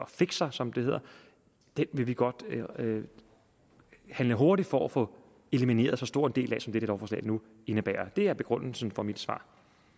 fixer som det hedder vil vi godt handle hurtigt for at få elimineret så stor en del af som dette lovforslag nu indebærer det er begrundelsen for mit svar